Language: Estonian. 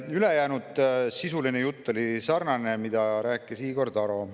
Ülejäänud sisuline jutt oli sarnane sellega, mida rääkis Igor Taro.